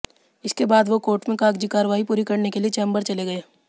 इसके बाद वो कोर्ट में कागजी कार्रवाई पूरी करने के लिए चेम्बर चले गए